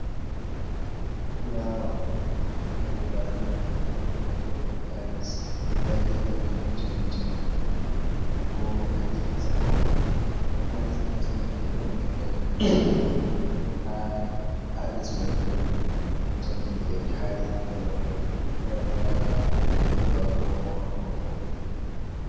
Fulawa hadow baranda, baranda mai bo ɗon tails ndagefe mai ɗon jamdi jamdini bo ha gidansama on to hales gidan sama fu ɗon leggal ommi ha hales mai fu ɗon jamdi be tari pellel mai hewata ɓingel du’a, ko maudo.